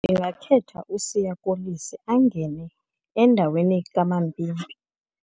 Ndingakhetha uSiya Kolisi angene endaweni kaMapimpi.